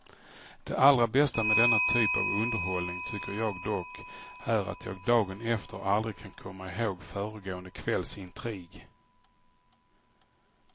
Det allra bästa med denna typ av underhållning tycker jag dock är att jag dagen efter aldrig kan komma ihåg föregående kvälls intrig.